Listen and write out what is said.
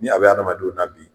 Ni a bɛ adamadenw na bi.